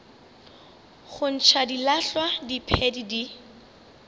go ntšha dilahlwa diphedi di